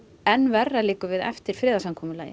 enn verra liggur við eftir